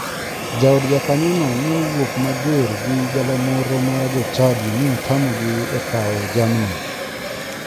Jaod jakanyono ne owuk mager gi galamoro mar jochadi mi otamogi e kawo jamni.